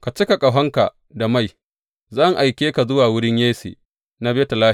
Ka cika ƙahonka da mai, zan aike ka zuwa wurin Yesse na Betlehem.